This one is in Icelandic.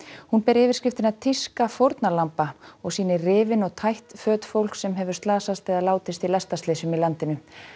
hún ber yfirskriftina tíska fórnarlamba og sýnir rifin og tætt föt fólks sem hefur slasast eða látist í lestarslysum í landinu